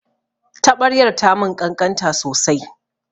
Taɓaryar ta mun ƙanƙanta sosai